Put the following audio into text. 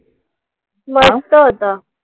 मस्त होतं.